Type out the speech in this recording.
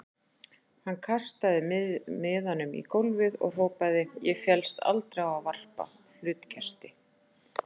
Hann kastaði miðanum í gólfið og hrópaði: Ég féllst aldrei á að varpa hlutkesti.